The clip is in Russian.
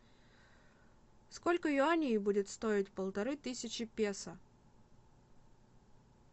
сколько юаней будет стоить полторы тысячи песо